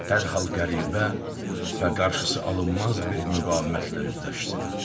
Dərhal qəribə və qarşısı alınmaz bir müqavimətlə üzləşsin.